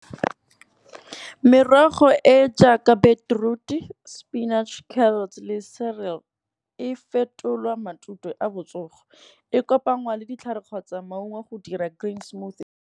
Merogo e jaaka beetroot spinach carrots le celery, e fetolwa matute a botsogo. E kopangwa le ditlhare kgotsa maungo go dira green smoothie.